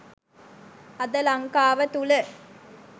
අද ලංකාව තුළ